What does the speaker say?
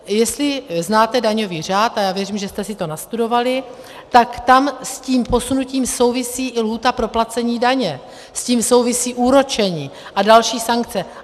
Jestli znáte daňový řád, a já věřím, že jste si to nastudovali, tak tam s tím posunutím souvisí i lhůta pro placení daně, s tím souvisí úročení a další sankce.